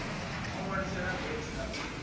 o ṋwaliselwa vat na u